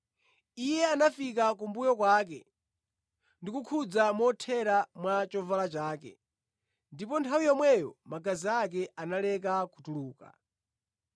Iye anafika kumbuyo kwake ndi kukhudza mothera mwa chovala chake, ndipo nthawi yomweyo magazi ake analeka kutuluka.